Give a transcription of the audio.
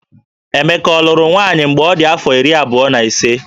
Emeka ọ lụrụ nwaanyị mgbe ọ dị afọ iri abụọ na ise?